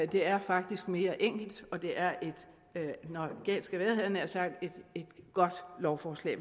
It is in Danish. det er faktisk mere enkelt og det er når galt skal være havde jeg nær sagt et godt lovforslag